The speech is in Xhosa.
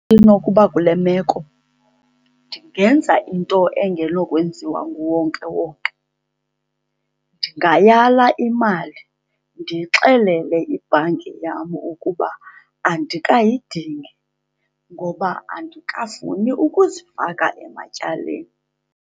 Inokuba kule meko ndingenza into engenokwenziwa nguwonkewonke. Ndingayala imali, ndiyixelele ibhanki yam ukuba andikayidingi ngoba andikafuni ukuzifaka ematyaleni.